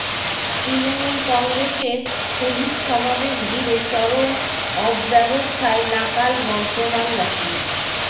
তৃণমূল কংগ্রেসের শহিদ সমাবেশ ঘিরে চরম অব্যবস্থায় নাকাল বর্ধমানবাসী